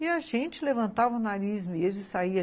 E a gente levantava o nariz mesmo e saía.